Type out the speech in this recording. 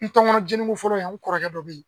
N tunkɔnɔ jeni ko fɔlɔ in an kɔrɔkɛ dɔ be yen.